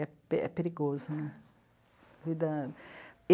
É pe, é perigoso, né? Vida...